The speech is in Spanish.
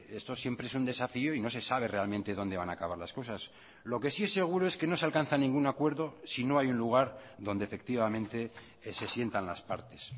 esto siempre es un desafío y no se sabe realmente donde van a acabar las cosas lo que sí es seguro es que no se alcanza ningún acuerdo si no hay un lugar donde efectivamente se sientan las partes